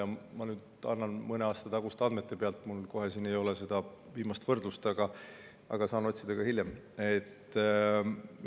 mõne aasta taguste andmete põhjal, sest mul ei ole siin seda viimast võrdlust, aga saan hiljem otsida.